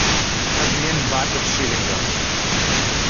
обмен бата в шиллингах